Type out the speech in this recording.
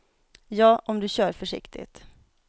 Ja, om du kör försiktigt.